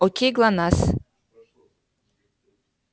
окей глонассс